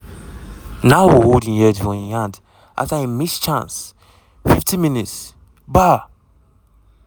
nouhou hold im head for im hand afta iim miss chance 50 mins- bar!